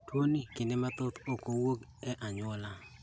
Tuo ni kinde mathoth ok owuog e anyuola